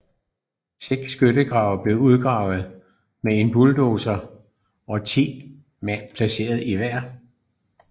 Seks skyttegrave blev udgravet med en bulldozer og 10 mand placeret i hver